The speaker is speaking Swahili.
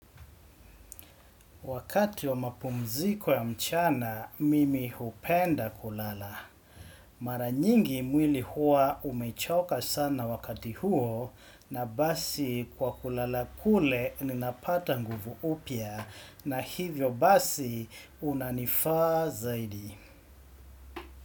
Wakati wa mapumziko ya mchana, mimi hupenda kulala. Mara nyingi mwili huwa umechoka sana wakati huo na basi kwa kulala kule ninapata nguvu upya na hivyo basi unanifaa zaidi.